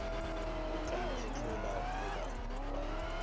o ka mphetlolla goba wa